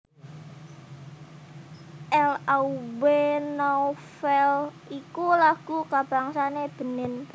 L Aube Nouvelle iku lagu kabangsané Benin